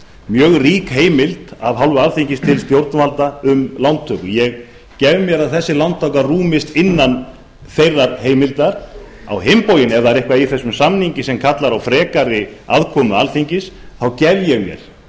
mjög rík heimild af hálfu alþingis til stjórnvalda um lántöku ég gef mér að þessi lántaka rúmist innan þeirrar heimildar á hinn bóginn ef það er eitthvað í þessum samningi sem kallar á frekari aðkomu alþingis þá gef ég mér